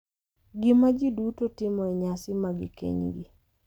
Gima ji duto timo e nyasi mag kenygi